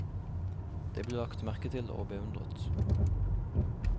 Det ble lagt merke til og beundret.